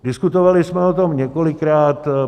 Diskutovali jsme o tom několikrát.